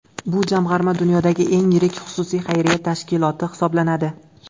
Bu jamg‘arma dunyodagi eng yirik xususiy xayriya tashkiloti hisoblanadi.